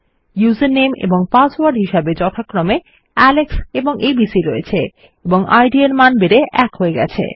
উসের নামে এবং পাসওয়ার্ড হিসাবে যথাক্রমে আলেক্স এবং এবিসি রয়েছে এবং ইদ এর মান ১ হয়ে গেছে